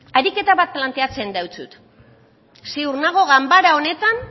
ariketa bat planteatzen deutsut ziur nago ganbara honetan